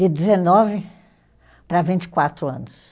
De dezenove para vinte e quatro anos.